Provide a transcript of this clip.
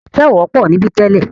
Ẹ̀tẹ̀ ò wọ́pọ̀ níbí tẹ́lẹ̀.